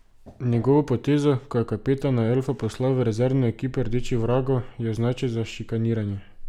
Njegovo potezo, ko je kapetana elfa poslal v rezervno ekipo rdečih vragov, je označil za šikaniranje.